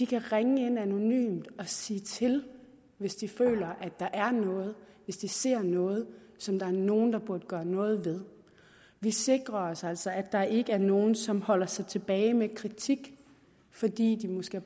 kan ringe ind anonymt og sige til hvis de føler at der er noget hvis de ser noget som der er nogle der burde gøre noget ved vi sikrer os altså at der ikke er nogen som holder sig tilbage med kritik fordi de måske